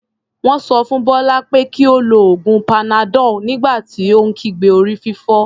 Wọ́n sọ fún Bọ́lá pé kí ó lo oògùn panadol nígbà tó ń kígbe orí-fífọ́.